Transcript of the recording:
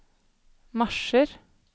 marsjer